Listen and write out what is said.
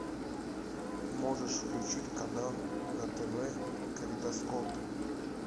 можешь включить канал на тв калейдоскоп